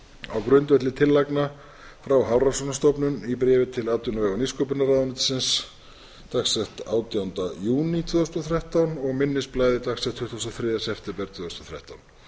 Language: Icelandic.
á grundvelli tillagna frá hafrannsóknastofnun í bréfi til atvinnuvega og nýsköpunarráðuneytisins dagsettu átjánda júní tvö þúsund og þrettán og minnisblaði dagsettu tuttugasta og þriðja september tvö þúsund og þrettán